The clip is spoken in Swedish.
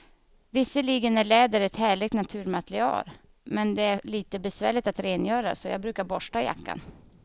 Visserligen är läder ett härligt naturmaterial, men det är lite besvärligt att rengöra, så jag brukar borsta jackan.